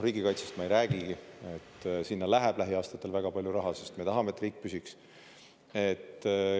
Riigikaitsest ma ei räägigi, sinna läheb lähiaastatel väga palju raha, sest me tahame, et riik püsiks.